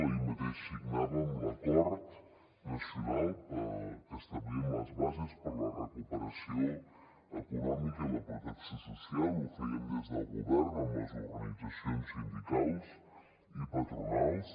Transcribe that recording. ahir mateix signàvem l’acord nacional pel que establíem les bases per la recuperació econòmica i la protecció social ho fèiem des del govern amb les organitzacions sindicals i patronals